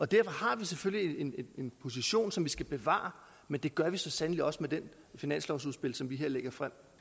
derfor har vi selvfølgelig en position som vi skal bevare men det gør vi så sandelig også med det finanslovsudspil som vi her lægger frem